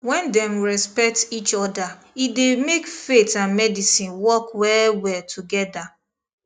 when dem respect each other e dey make faith and medicine work well well together